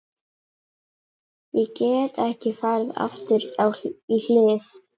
Ég get ekki farið aftur í hlið